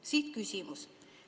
Siit küsimus.